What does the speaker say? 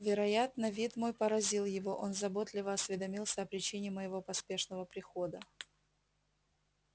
вероятно вид мой поразил его он заботливо осведомился о причине моего поспешного прихода